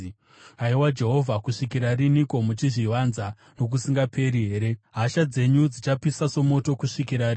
Haiwa Jehovha kusvikira riniko? Muchazvivanza nokusingaperi here? Hasha dzenyu dzichapisa somoto kusvikira riniko?